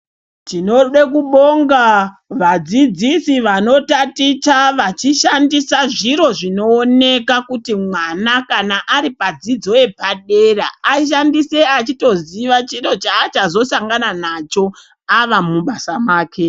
Tinode kubonga vadzidzisi vanotaticha vachishandisa zviro zvinooneka kuti mwana kana ari padzidzo yepadera, ashandise achitoziva chiro chaachazosangana nacho ava mubasa make.